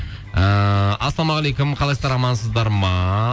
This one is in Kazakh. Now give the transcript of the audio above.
ыыы ассалаумағалейкум қалайсыздар амансыздар ма